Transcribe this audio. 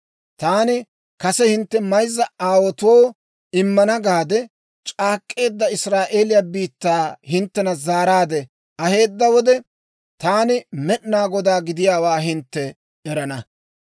Taani kase hintte mayzza aawaatoo immana gaade c'aak'k'eedda Israa'eeliyaa biittaa hinttena zaaraadde aheedda wode, taani Med'inaa Godaa gidiyaawaa hintte erana.